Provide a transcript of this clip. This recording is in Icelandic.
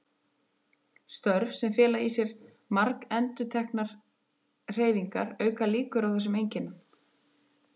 Störf sem fela í sér margendurteknar hreyfingar auka líkur á þessum einkennum.